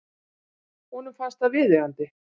Honum fannst það viðeigandi.